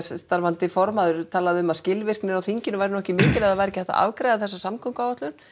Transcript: starfandi formaður talaði um það að skilvirknin á þinginu væri nú ekki mikil ef að það væri ekki hægt að afgreiða þessa samgönguáætlun